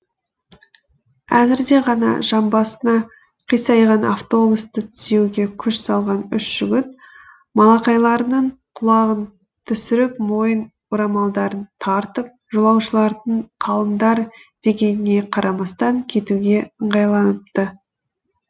әзірде ғана жамбасына қисайған автобусты түзеуге күш салған үш жігіт малақайларының құлағын түсіріп мойын орамалдарын тартып жолаушылардың қалыңдар дегеніне қарамастан кетуге ыңғайланыпты